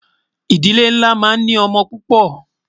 ìdílé nlá má ń ní ọ̀mò púpò